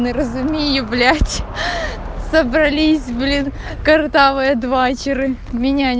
он разумеет блять собрались блин картавая двачеры меня